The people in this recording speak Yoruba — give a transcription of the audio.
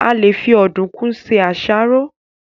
A lè fi Ọ̀dùnkún se àsáró